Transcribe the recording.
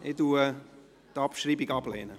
Ich lehne die Abschreibung ab.